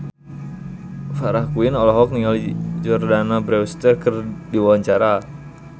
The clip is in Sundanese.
Farah Quinn olohok ningali Jordana Brewster keur diwawancara